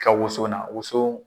ka woson na woson